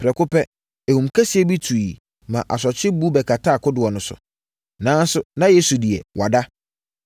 Prɛko pɛ, ahum kɛseɛ bi tuiɛ maa asorɔkye bu bɛkataa kodoɔ no so. Nanso, na Yesu deɛ, wada.